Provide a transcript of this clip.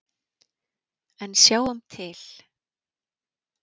En sjáum til.